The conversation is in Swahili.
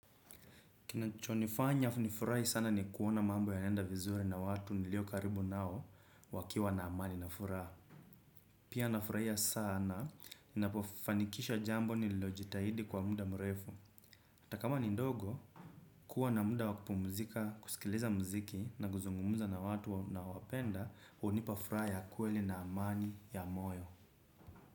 Kinachonifanya nifurahi sana ni kuona mambo yanaenda vizuri na watu nilio karibu nao wakiwa na amani na furaha. Pia nafurahia sana, ninapofanikisha jambo nililojitahidi kwa muda mrefu. Hata kama ni ndogo, kuwa na muda wa kupumzika, kusikiliza mziki na kuzungumza na watu ninaowapenda, hunipa furaha kweli na amani ya moyo.